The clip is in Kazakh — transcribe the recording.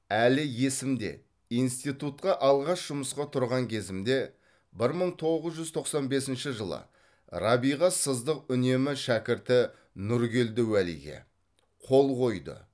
әлі есімде институтқа алғаш жұмысқа тұрған кезімде бір мың тоғыз жүз тоқсан бесінші жылы рабиға сыздық үнемі шәкірті нұргелді уәлиге қол қойды